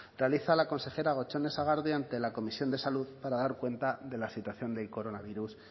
realiza la consejera gotxone sagardui ante la comisión de salud para dar cuenta de la situación del coronavirus